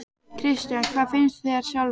Kristján: Hvað finnst þér sjálfri?